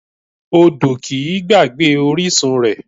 Odò kìí gbàgbé orísun rẹ̀